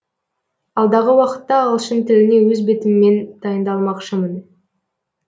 алдағы уақытта ағылшын тіліне өз бетіммен дайындалмақшымын